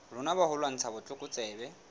rona ba ho lwantsha botlokotsebe